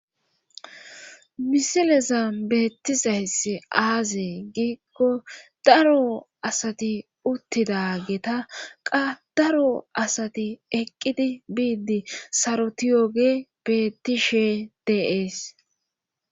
misileza beettizayss aazee giikko daro asati uttida geta qa daro asati eqqidi biiddi saroti yooge bettishe deees